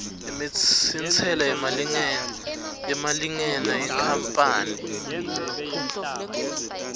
intsela yemalingena yenkapani